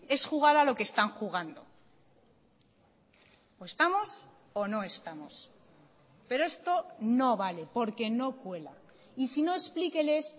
es jugar a lo que están jugando o estamos o no estamos pero esto no vale porque no cuela y si no explíqueles